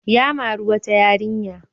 Ya mari wata yarinya.